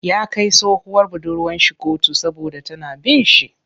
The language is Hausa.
Ya kai tsohuwar budurwar shi koto saboda tana bin shi.